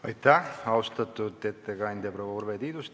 Aitäh, austatud ettekandja proua Urve Tiidus!